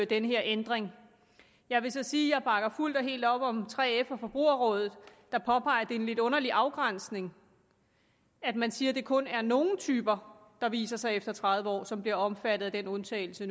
den her ændring jeg vil så sige at jeg bakker fuldt og helt op om 3f og forbrugerrådet der påpeger at det er en lidt underlig afgrænsning at man siger at det kun er nogle typer der viser sig efter tredive år som nu bliver omfattet af den undtagelse